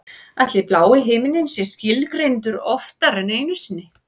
Ætli blái himininn sé skilgreindur oftar en einu sinni?